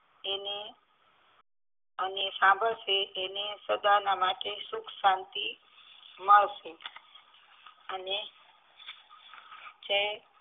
એને અને સાંભળશે એને સદાના માટે સુખ શાંતિ મળશે અને જે